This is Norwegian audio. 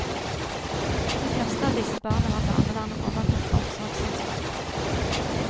De fleste av disse barna har barnevernet overtatt omsorgsansvaret for.